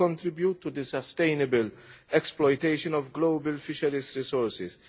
It will contribute to the sustainable exploitation of global fisheries resources.